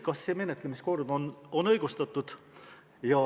Kas see menetlemise kord on õigustatud?